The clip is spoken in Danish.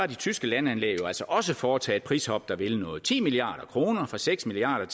de tyske landanlæg altså også foretaget et prishop der vil noget ti milliard kroner fra seks milliard